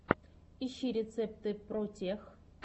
ищи рецепты протех